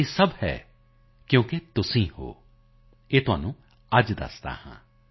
ਯੇ ਸਬ ਹੈ ਕਿਉਂਕਿ ਤੁਮ ਹੋ ਯੇ ਤੁਮਕੋ ਆਜ ਬਤਾਤਾ ਹੂੰ